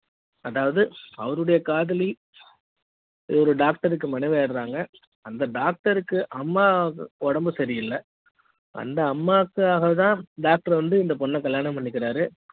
அதாவது அவருடைய காதலி ஒரு டாக்டருக்கு மனைவி றாங்க அந்த டாக்டருக்கு அம்மா உடம்பு சரி இல்ல அந்த அம்மாக்காக தான் டாக்டர் வந்து இந்த பொண்ண கல்யாணம் பண்ணிக்ககி றாரு